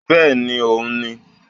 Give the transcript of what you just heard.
Bẹ́ẹ̀ni òun n ni